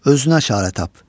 Özünə işarə tap.